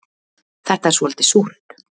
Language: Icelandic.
Þetta er svolítið súrt